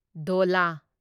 ꯙꯣꯂꯥ